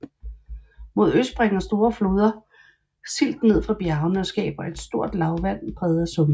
Mod øst bringer store floder silt ned fra bjergene og skaber et stort lavland præget af sumpe